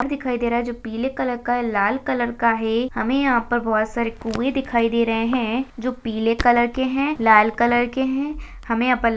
घर दिखाई दे रहा हैं जो पीले कलर अ हैं लाल कलर के हैं हमें यहाँ पर बहोत सारे कुए दिखाई दे रहे हैं जो पिले कलर के हैं लाल कलर के हैं।